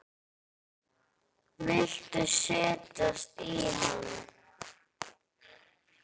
Viltu setjast í hann?